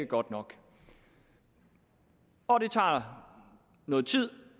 godt nok og det tager noget tid